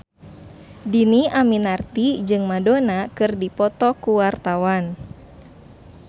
Dhini Aminarti jeung Madonna keur dipoto ku wartawan